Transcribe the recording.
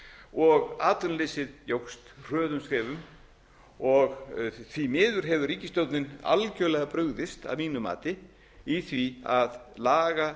og atvinnuleysið jókst hröðum skrefum og því miður hefur ríkisstjórnin algjörlega brugðist að mínu mati í því að laga